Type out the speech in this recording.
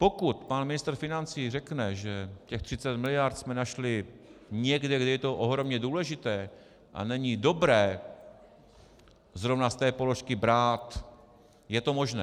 Pokud pan ministr financí řekne, že těch 30 miliard jsme našli někde, kde je to ohromně důležité a není dobré zrovna z té položky brát, je to možné.